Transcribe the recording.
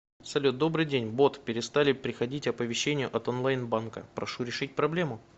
салют добрый день бот перестали приходить оповещения от онлайн банка прошу решить проблему